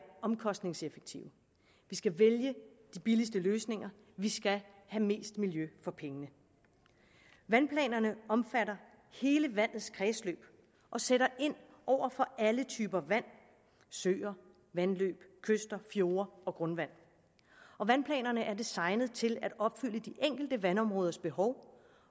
omkostningseffektive vi skal vælge de billigste løsninger vi skal have mest miljø for pengene vandplanerne omfatter hele vandets kredsløb og sætter ind over for alle typer vand søer vandløb kyster fjorde og grundvand vandplanerne er designet til at opfylde de enkelte vandområders behov